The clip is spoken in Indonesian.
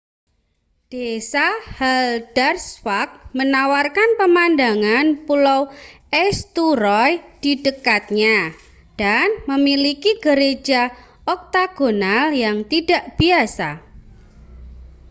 desa haldarsvã­k menawarkan pemandangan pulau eysturoy di dekatnya dan memiliki gereja oktagonal yang tidak biasa